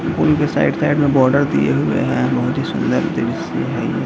के side side में border दिए हुए हैं बहुत ही सुंदर दृश्य है।